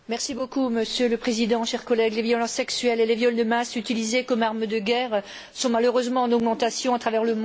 Monsieur le Président, chers collègues, les violences sexuelles et les viols de masse utilisés comme armes de guerre sont, malheureusement, en augmentation à travers le monde.